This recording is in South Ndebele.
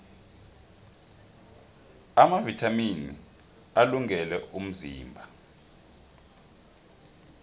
amavithamini alungele umzimba